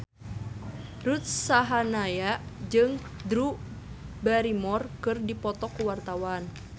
Ruth Sahanaya jeung Drew Barrymore keur dipoto ku wartawan